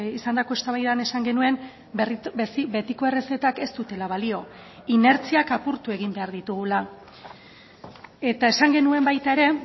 izandako eztabaidan esan genuen betiko errezetak ez dutela balio inertziak apurtu egin behar ditugula eta esan genuen baita ere